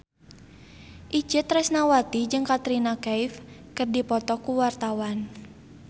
Itje Tresnawati jeung Katrina Kaif keur dipoto ku wartawan